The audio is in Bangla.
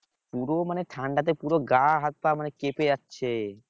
পুরো মানে ঠান্ডাতে পুরো গা হাত পা মানে কেঁপে যাচ্ছে